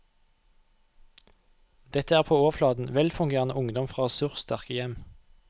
Dette er på overflaten velfungerende ungdom fra ressurssterke hjem.